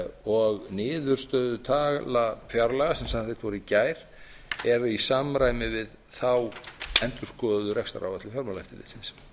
og niðurstöðutala fjárlaga sem samþykkt voru í gær er í samræmi við þá endurskoðuðu rekstraráætlun fjármálaeftirlitsins